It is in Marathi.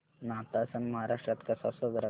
नाताळ सण महाराष्ट्रात कसा साजरा करतात